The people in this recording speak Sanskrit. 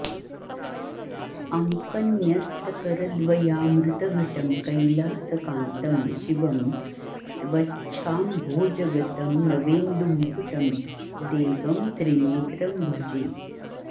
अङ्कन्यस्तकरद्वयामृतघटं कैलासकान्तं शिवं स्वच्छाम्भोजगतं नवेन्दुमुकुटं देवं त्रिनेत्रं भजे